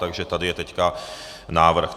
Takže tady je teď návrh.